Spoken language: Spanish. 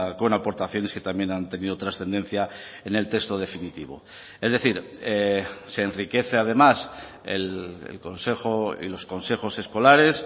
con aportaciones que también han tenido trascendencia en el texto definitivo es decir se enriquece además el consejo y los consejos escolares